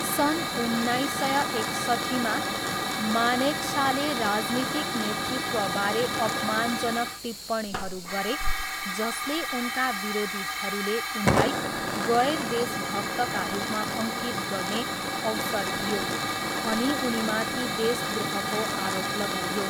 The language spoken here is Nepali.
सन् उन्नाइस सय एकसट्ठीमा, मानेकसाले राजनीतिक नेतृत्वबारे अपमानजनक टिप्पणीहरू गरे जसले उनका विरोधीहरूले उनलाई गैर देशभक्तका रूपमा अङ्कित गर्ने अवसर दियो, अनि उनमाथि देशद्रोहको आरोप लगाइयो।